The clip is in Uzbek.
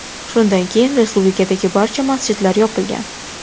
Shundan keyin respublikadagi barcha masjidlar yopilgan.